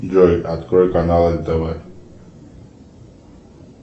джой открой канал нтв